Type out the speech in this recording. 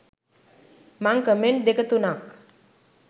මං කමෙන්ට් දෙක තුනක්